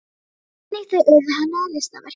Einnig þau urðu henni að listaverki.